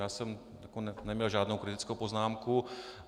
Já jsem neměl žádnou kritickou poznámku.